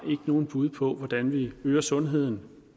nogen bud på hvordan vi kan øge sundheden